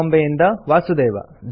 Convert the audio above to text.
ಬಾಂಬೆಯಿಂದ ವಾಸುದೇವ